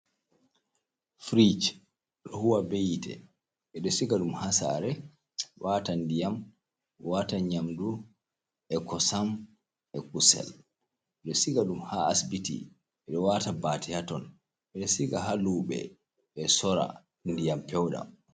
Firij ɗo huwa be yite ɓe ɗo siga dum ha sare, wata ndiyam, wata yamdu e kosam e kusel ɓe ɗo siga ɗum ha asibiti ɓedo wata bate haton ɓe ɗo siga ha luɓe ɓe sora ndiyam pewɗam.